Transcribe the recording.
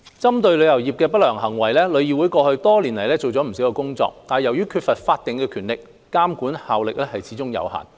針對旅遊業界的不良行為，旅議會過去多年做了不少工作，但由於缺乏法定權力，監管效力始終有限。